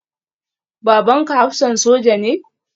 Babanka hafsan soja ne?